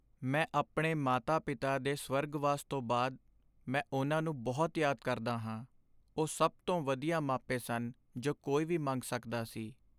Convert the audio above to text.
ਮੈਂ ਆਪਣੇ ਮਾਤਾ ਪਿਤਾ ਦੇ ਸਵਰਗਵਾਸ ਤੋਂ ਬਾਅਦ ਮੈਂ ਉਹਨਾਂ ਨੂੰ ਬਹੁਤ ਯਾਦ ਕਰਦਾ ਹਾਂ ਉਹ ਸਭ ਤੋਂ ਵਧੀਆ ਮਾਪੇ ਸਨ ਜੋ ਕੋਈ ਵੀ ਮੰਗ ਸਕਦਾ ਸੀ